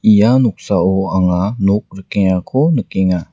ia noksao anga nok rikengako nikenga.